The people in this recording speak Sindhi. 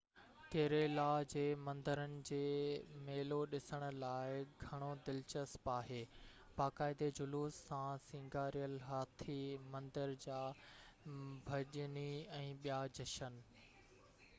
ڪيريلا جي مندرن جي ميلو ڏسڻ لاءِ گهڻو دلچسپ آهي باقاعدي جلوس سان سينگاريل هاٿي مندر جا ڀڄني ۽ ٻيا جشن